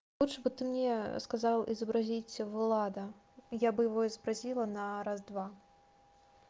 лучше бы ты мне сказал изобразить влада я бы его и спросила на раз-два